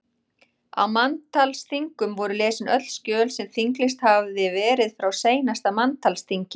Á manntalsþingum voru lesin öll skjöl sem þinglýst hafði verið frá seinasta manntalsþingi.